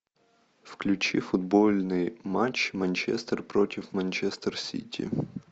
включи футбольный матч манчестер против манчестер сити